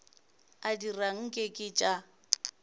a dira nke ke tša